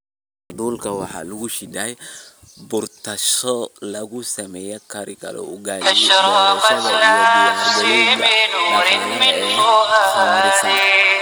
"Hadhuudhka waxaa lagu shiiday bur taasoo lagu samayn karo ugaali, boorash iyo diyaargarowga dhaqanka ee khamiirsan."